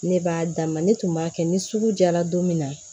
Ne b'a d'a ma ne tun b'a kɛ ni sugu jara don min na